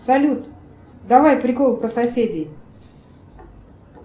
салют давай приколы про соседей